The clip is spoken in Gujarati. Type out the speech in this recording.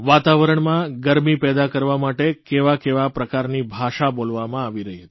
વાતાવરણમાં ગરમી પેદા કરવા માટે કેવા કેવા પ્રકારની ભાષા બોલવામાં આવી રહી હતી